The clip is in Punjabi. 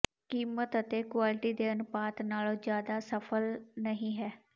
ਕੀਮਤ ਅਤੇ ਕੁਆਲਿਟੀ ਦੇ ਅਨੁਪਾਤ ਨਾਲੋਂ ਜਿਆਦਾ ਸਫਲ ਨਹੀਂ ਹੈ